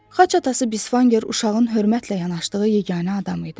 Xaç atası Bisfanger uşağın hörmətlə yanaşdığı yeganə adam idi.